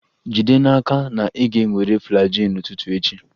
Jide n'aka na ị ga-ewere Flagyl n'ụtụtụ echi!